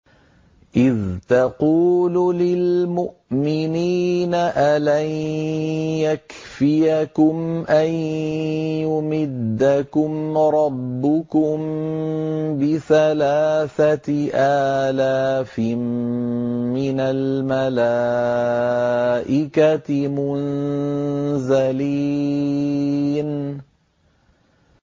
إِذْ تَقُولُ لِلْمُؤْمِنِينَ أَلَن يَكْفِيَكُمْ أَن يُمِدَّكُمْ رَبُّكُم بِثَلَاثَةِ آلَافٍ مِّنَ الْمَلَائِكَةِ مُنزَلِينَ